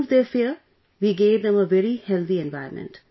To remove their fear we gave them a very healthy environment